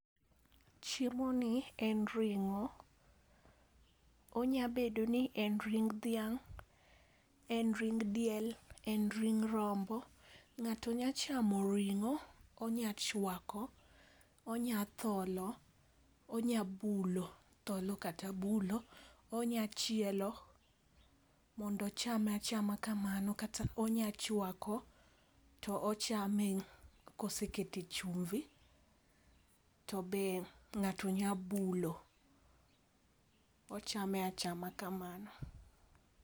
Chiemo ni en ring'o, onya bedo ni en ring dhiang, en ring diel, en ring rombo. Ng'ato nya chamo ring'o onya chwako, onya tholo ,onya bulo tholo kata bulo , onya chielo mondo ochame achama kamano kata onya chwako to ochame kosekete e chumbi to be ng'ato nya bulo ochame achama kamano.